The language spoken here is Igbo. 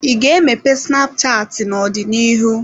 Ị ga-emepe snapchatị n'ọdịnihu?